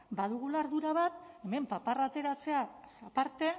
badugula ardura bat hemen paparra ateratzeaz aparte